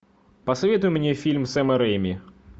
посоветуй мне фильм сэма рэйми